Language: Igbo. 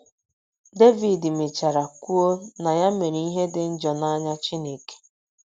Devid mechara kwuo na ya mere ‘ ihe dị njọ n’anya Chineke. ’